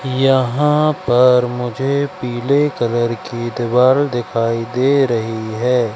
यहां पर मुझे पीले कलर की दीवार दिखाई दे रही है।